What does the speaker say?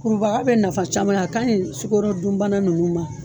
Kurubaga bɛ nafa caman ya, a kaɲi sukorodunbana ninnu ma.